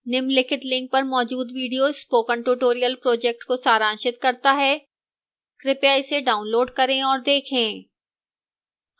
निम्नलिखित link पर मौजूद video spoken tutorial project को सारांशित करता है कृपया इसे डाउनलोड करें और देखें